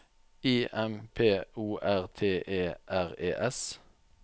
I M P O R T E R E S